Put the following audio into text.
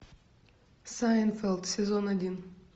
сайнфелд сезон один